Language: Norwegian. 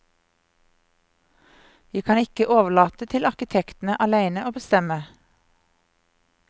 Vi kan ikke overlate til arkitektene alene å bestemme.